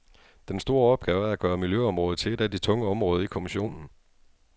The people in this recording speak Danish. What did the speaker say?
Den store opgave er at gøre miljøområdet til et af de tunge områder i kommissionen.